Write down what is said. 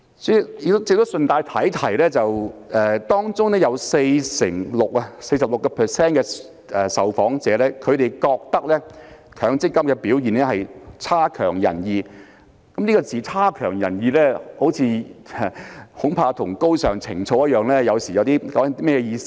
主席，我亦想順帶提提，在調查中有 46% 受訪者認為強積金的表現"差強人意"，而"差強人意"這個詞語恐怕與"高尚情操"一樣，有時候代表甚麼意思呢？